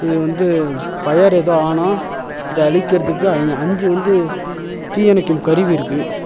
இது வந்து ஃபயர் எதோ ஆனா இத அழிக்கிறதுக்கு அய் அஞ்சு வந்து தீயணைக்கும் கருவி இருக்கு.